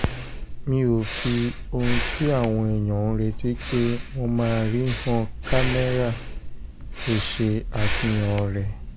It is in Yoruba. mi ò fi ohun tí àwọn èèyàn ń retí pé wọ́n máa rí han kámẹ́rà kó ṣe àfihàn rẹ̀